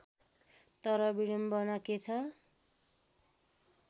तर विडम्बना के छ